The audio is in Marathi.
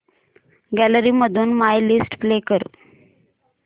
गॅलरी मधून माय लिस्ट प्ले कर